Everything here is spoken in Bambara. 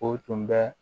O tun bɛ